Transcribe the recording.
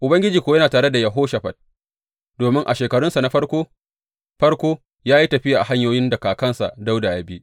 Ubangiji kuwa yana tare da Yehoshafat domin a shekarunsa na farko farko ya yi tafiya a hanyoyin da kakansa Dawuda ya bi.